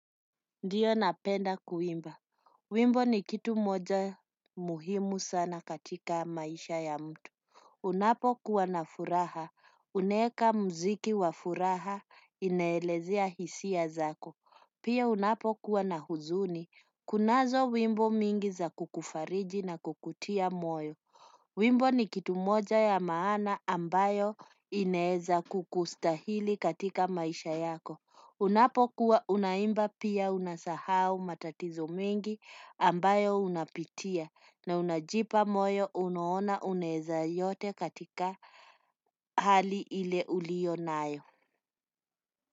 Ndiyo napenda kuimba, wimbo ni kitu moja muhimu sana katika maisha ya mtu. Unapo kuwa na furaha, unaeka muziki wa furaha inaelezea hisia zako, pia unapo kuwa na huzuni kunazo wimbo mingi za kukufariji na kukutia moyo, wimbo ni kitu moja ya maana ambayo inaeza kukustahili katika maisha yako. Unapokuwa unaimba pia unasahau matatizo mengi ambayo unapitia na unajipa moyo unaona unaeza yote katika hali ile ulionayo.